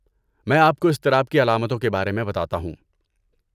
میں آپ کو اضطراب کی علامتوں کے بارے میں بتاتا ہوں۔